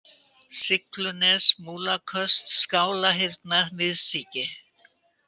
Siglunes, Múlaköst, Skálarhyrna, Miðsíki